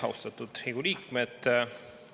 Austatud Riigikogu liikmed!